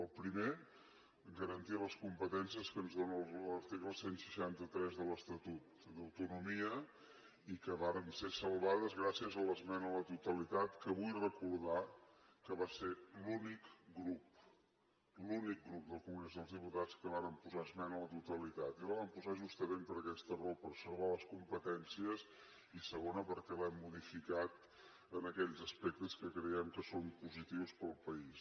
el primer garantir les competències que ens dóna l’article cent i seixanta tres de l’estatut d’autonomia i que varen ser salvades gràcies a l’esmena a la totalitat que vull recordar que va ser l’únic grup l’únic grup del congrés dels diputats que vàrem posar esmena a la totalitat i la vam posar justament per aquesta raó per salvar les competències i segona perquè l’hem modificat en aquells aspectes que creiem que són positius per al país